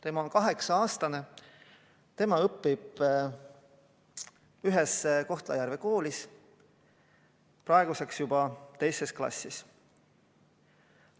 Tema on kaheksa-aastane, õpib ühes Kohtla-Järve koolis praeguseks juba teises klassis.